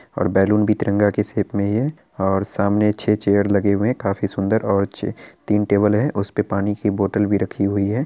और बेलून भी तिरंगा के शेप में ही है और सामने छे चेयर लगे हुए हैं| काफी सुंदर और छे तीन टेबल है उसपे पानी की बोटल भी रखी हुई है।